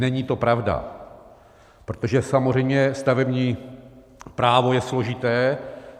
Není to pravda, protože samozřejmě stavební právo je složité.